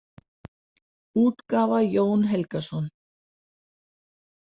útgáfa Jón Helgason.